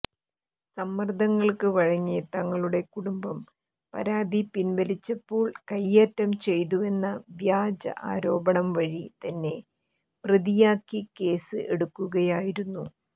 സമ്മർദ്ദങ്ങൾക്ക് വഴങ്ങി തങ്ങളുടെ കുടുംബം പരാതി പിൻവലിച്ചപ്പോൾ കയ്യേറ്റം ചെയ്തുവെന്ന വ്യാജ ആരോപണം വഴി തന്നെ പ്രതിയാക്കി കേസ് എടുക്കുകയുമായിരുന്നു